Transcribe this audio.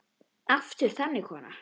Aftur þagnaði konan.